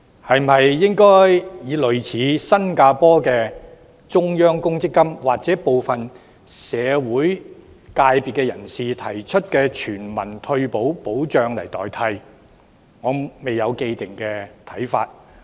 是否應以類似新加坡的中央公積金，或部分社會人士提出的全民退休保障來代替，我未有既定看法。